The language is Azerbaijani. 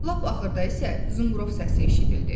Lap axırda isə zınqrov səsi eşidildi.